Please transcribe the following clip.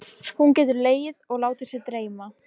Hún getur legið og látið sig dreyma.